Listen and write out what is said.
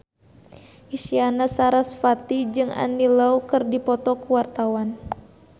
Isyana Sarasvati jeung Andy Lau keur dipoto ku wartawan